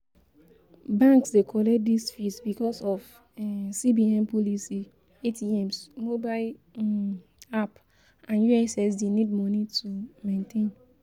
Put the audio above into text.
Banks de collect these fees because of um CBN policy, ATMs, mobile um app and ussd need money to um maintain